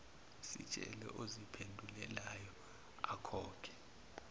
sitshele oziphendulelayo akhokhe